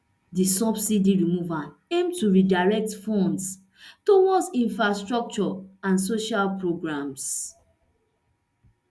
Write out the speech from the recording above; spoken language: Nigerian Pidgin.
di subsidy removal aim to redirect funds towards infrastructure and social programs